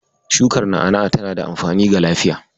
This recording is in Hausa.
Shukar na'a-na'a tana da amfani ga lafiya.